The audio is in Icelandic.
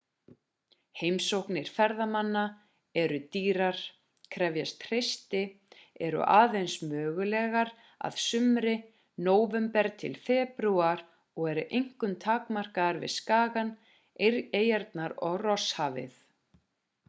heimsóknir ferðamanna eru dýrar krefjast hreysti eru aðeins mögulegar að sumri nóvember til febrúar og eru einkum takmarkaðar við skagann eyjarnar og rosshafið